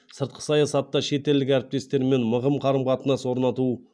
сыртқы саясатта шетелдік әріптестерімен мығым қарым қатынас орнату